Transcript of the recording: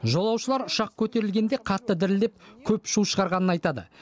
жолаушылар ұшақ көтерілгенде қатты дірілдеп көп шу шығарғанын айтады